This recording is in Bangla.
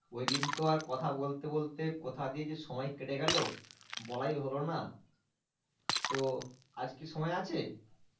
ওই দিন তো আর কথা বলতে বলতে কোথা দিয়ে যে সময় কেটে গেল বলাই হলো না, তো আজকে সময় আছে?